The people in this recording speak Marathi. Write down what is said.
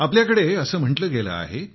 आपल्याकडे असं म्हटलं गेलं आहे